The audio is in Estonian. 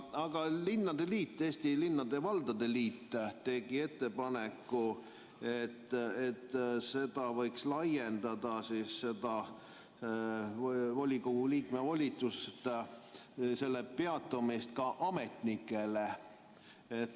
Aga Eesti Linnade ja Valdade Liit tegi ettepaneku, et seda volikogu liikme volituste peatumist võiks laiendada ka ametnikele.